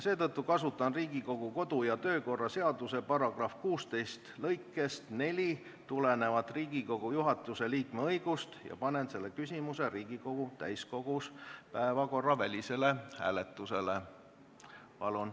Seetõttu kasutan Riigikogu kodu- ja töökorra seaduse § 16 lõikest 4 tulenevat Riigikogu juhatuse liikme õigust ja panen selle küsimuse Riigikogu täiskogus päevakorravälisele hääletusele.